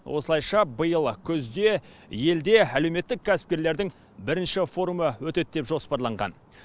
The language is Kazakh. осылайша биыл күзде елде әлеуметтік кәсіпкерлердің бірінші форумы өтеді деп жоспарланған